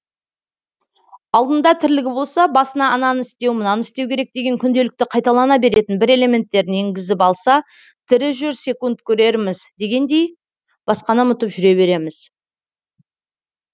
алдында тірлігі болса басына ананы істеу мынаны істеу керек деген күнделікті қайталана беретін бір элементтерін енгізіп алса тірі жүрсек көрерміз дегендей басқаны ұмытып жүре береміз